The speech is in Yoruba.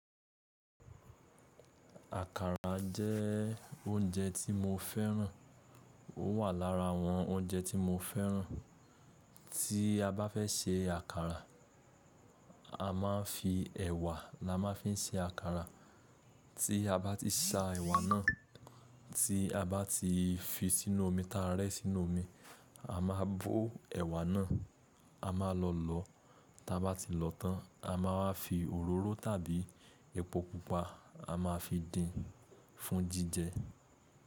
Àkàrà jẹ́ oúnjẹ tí mo fẹ́ràn. Ó wà lára àwọn oúnjẹ tí mo fẹ́ràn. Tí a bá fẹ́ se àkàrà, a máa ń fi ẹ̀wà la máa ń fi ń se àkàrà. Tí a bá ti sa ẹ̀wà náà, tí a bá ti fi sínú omi táa rẹ́ sínú omi, a máa bó ẹ̀wà náà, a máa lọ lọ̀ọ́. Tí a bá ti lọ̀ọ́ tán, a máa fi òróró tàbí epo pupa a máa fi dín fún jíjẹ.